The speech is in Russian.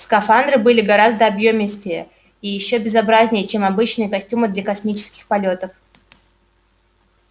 скафандры были гораздо объёмистее и ещё безобразнее чем обычные костюмы для космических полётов